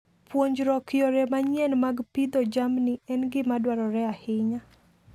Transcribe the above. Puonjruok yore manyien mag pidho jamni en gima dwarore ahinya.